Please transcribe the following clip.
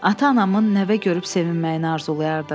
Ata-anamın nəvə görüb sevinməyini arzulayardım.